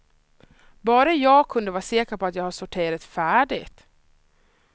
Bara jag kunde vara säker på att jag har sorterat färdigt.